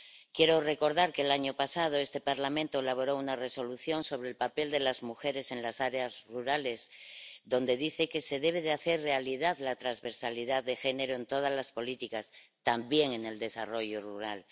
Quiero recordar que el año pasado este Parlamento elaboró una Resolución sobre el papel de las mujeres en las áreas rurales en la que se dice que se debe hacer realidad la transversalidad de género en todas las políticas, también en el desarrollo rural.